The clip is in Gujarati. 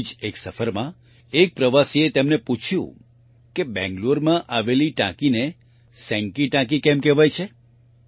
આવી જ એક સફરમાં એક પ્રવાસીએ તેમને પૂછ્યું કે બેંગ્લોરમાં આવેલી ટાંકીને સેંકી ટાંકી કેમ કહેવાય છે